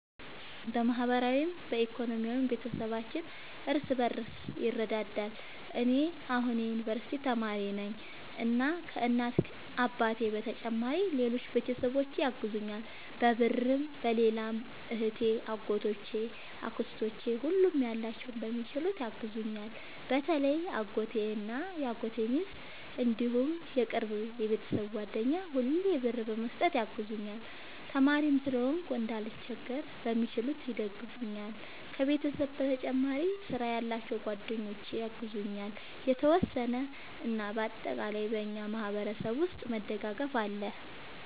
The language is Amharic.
በማህበራዊም በኢኮኖሚም ቤተሰባችን እርስ በርስ ይረዳዳል። እኔ አሁን የዩንቨርስቲ ተማሪ ነኝ እና ከ እናት አባቴ በተጨማሪ ሌሎች ቤተሰቦቼ ያግዙኛል በብርም በሌላም እህቴ አጎቶቼ አክስቶቼ ሁሉም ያላቸውን በሚችሉት ያግዙኛል። በተለይ አጎቴ እና የአጎቴ ሚስት እንዲሁም የቅርብ የቤተሰብ ጓደኛ ሁሌ ብር በመስጠት ያግዙኛል። ተማሪም ስለሆንኩ እንዳልቸገር በሚችሉት ይደግፈኛል። ከቤተሰብ በተጨማሪ ስራ ያላቸው ጓደኞቼ ያግዙኛል የተወሰነ። እና በአጠቃላይ በእኛ ማህበረሰብ ውስጥ መደጋገፍ አለ